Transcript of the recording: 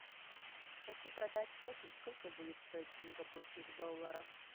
хочу продать шекель сколько будет стоить в сингапурских долларах